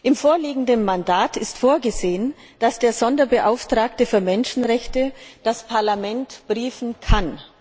Im vorliegenden Mandat ist vorgesehen, dass der Sonderbeauftragte für Menschenrechte das Parlament briefen kann.